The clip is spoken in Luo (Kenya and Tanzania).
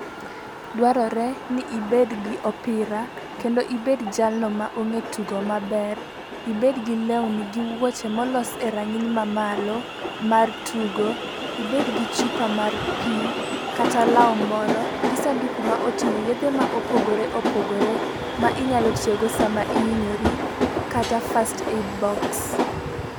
Dwarore ni ibed gi opira, kendo ibed jalno ma ong'e tugo maber, ibed gi lewni gi wuoche molos e rang'iny mamalo mar tugo, ibed gi chupa mar pii, kata law moro gi sanduku moting'o yedhe ma opogore opogore ma inyalo tiyo go saama ihinyori kata first aid box.